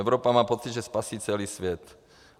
Evropa má pocit, že spasí celý svět.